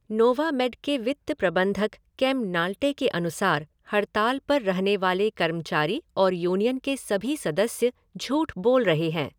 Novamed के वित्त प्रबंधक केम ग्नाल्टे के अनुसार हड़ताल पर रहने वाले कर्मचारी और यूनियन के सभी सदस्य झूठ बोल रहे हैं।